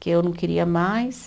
Que eu não queria mais.